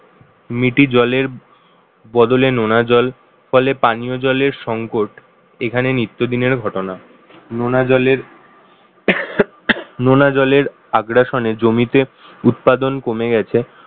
মিটি জলের বদলে নোনা জল ফলে পানীয় জলের সংকট এখানে নিত্যদিনের ঘটনা। নোনা জলের নোনা জলের আগ্রাসনে জমিতে উৎপাদন কমে গেছে